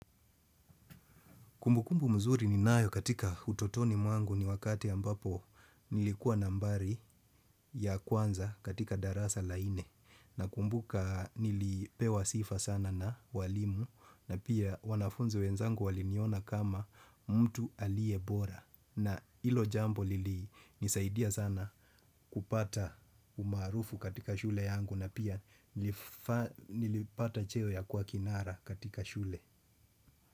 Kumbukumbu mzuri ninayo katika utotoni mwangu ni wakati ambapo nilikuwa nambari ya kwanza katika darasa la nne. Na kumbuka nilipewa sifa sana na walimu na pia wanafunzi wenzangu waliniona kama mtu aliyebora. Na hilo jambo lilinisaidia sana kupata umaarufu katika shule yangu na pia nilipata cheo ya kuakinara katika shule.